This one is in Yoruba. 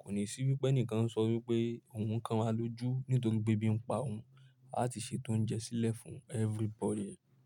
Kò ní sí wípé ẹnìkan ń sọ wípé òun kan wáa lójú nítorí pé ebí pa òun, a ti ṣe tó ounjẹ sílẹ̀ fún everybody.